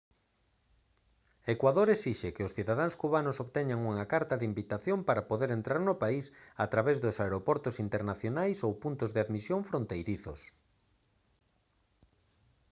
ecuador esixe que os cidadáns cubanos obteñan unha carta de invitación para poder entrar no país a través dos aeroportos internacionais ou puntos de admisión fronteirizos